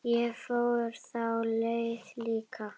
Ég fór þá leið líka.